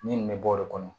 Min bɛ bɔ de kɔnɔ